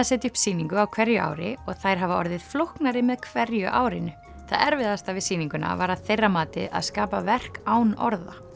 setja upp sýningu á hverju ári og þær hafa orðið flóknari með hverju árinu það erfiðasta við sýninguna var að þeirra mati að skapa verk án orða